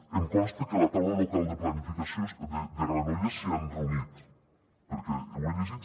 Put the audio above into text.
em consta que la taula local de planificació de granollers s’hi han reunit perquè ho he llegit